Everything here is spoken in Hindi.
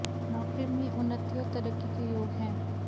नौकरी में उन्नति और तरक्की के योग हैं